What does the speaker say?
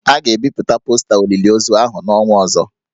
A ga-ebipụta posta olili ozu ahụ n'ọnwa ọzọ